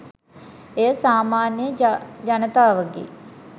එය සාමාන්‍ය ජනතාවගේ